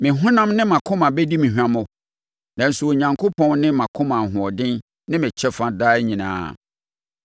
Me honam, ne mʼakoma bɛdi me hwammɔ, nanso Onyankopɔn ne mʼakoma ahoɔden ne me kyɛfa daa nyinaa.